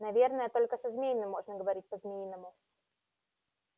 наверно только со змеями можно говорить по-змеиному